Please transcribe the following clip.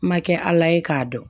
Ma kɛ ala ye k'a dɔn